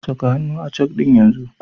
Kasa hannu a cek ɗin yanzu!